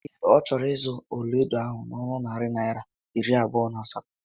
Ee, ọ chọrọ ịzụ ọlaedo ahụ n'onu narị Naịra iri abụọ na asatọ